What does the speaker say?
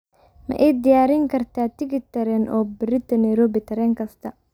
ma ii diyaarin kartaa tigidh tareen oo berrito nairobi tareen kasta